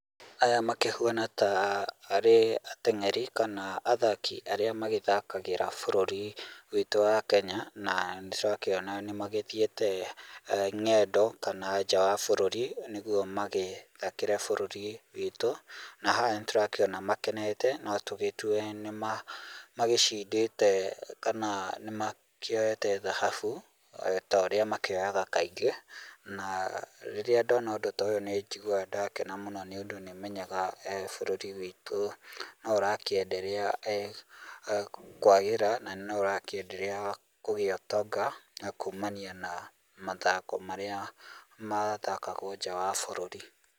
Aya makĩhuana ta arĩ ateng'eri kana athaki arĩa magĩthakagĩra bũrũri ũyũ witũ wa Kenya na nĩ tũrakĩona nĩ magĩthiĩte ng'endo kana nja wa bũrũri nĩguo magĩthakĩre bũrũri witũ na haha nĩtũrakĩona makenete notũgĩtue nĩ magĩcindĩte kana nĩmakĩoete thahabu ta ũrĩa makĩoyaga kaingĩ na rĩrĩa ndona ũndũ ta ũyũ nĩ njiguaga nda kena mũno nĩ ũndũ nĩmenyaga bũrũri witũ no ũra kĩ endelea kwagĩra na no ũrakĩ endelea kũgĩa ũtonga na kumania na mathako marĩa mathakagwo nja wa bururi.